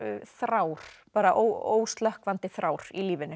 þrár bara óslökkvandi þrár í lífinu